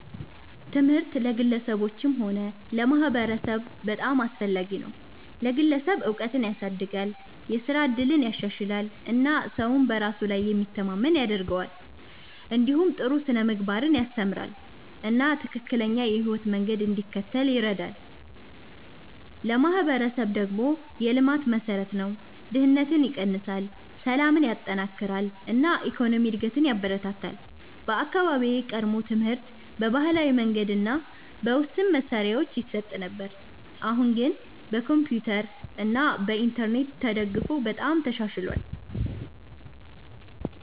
ትምህርት ለግለሰቦችም ሆነ ለማህበረሰብ በጣም አስፈላጊ ነው። ለግለሰብ እውቀትን ያሳድጋል፣ የስራ እድልን ያሻሽላል እና ሰውን በራሱ ላይ የሚተማመን ያደርገዋል። እንዲሁም ጥሩ ስነ-ምግባርን ያስተምራል እና ትክክለኛ የህይወት መንገድ እንዲከተል ይረዳል። ለማህበረሰብ ደግሞ የልማት መሠረት ነው፤ ድህነትን ይቀንሳል፣ ሰላምን ያጠናክራል እና የኢኮኖሚ እድገትን ያበረታታል። በአካባቢዬ ቀድሞ ትምህርት በባህላዊ መንገድ እና በውስን መሳሪያዎች ይሰጥ ነበር፣ አሁን ግን በኮምፒውተር እና በኢንተርኔት ተደግፎ በጣም ተሻሽሏል።